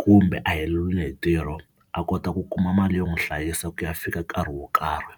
kumbe a heleriwe hi ntirho a kota ku kuma mali yo n'wi hlayisa ku ya fika nkarhi wo karhi.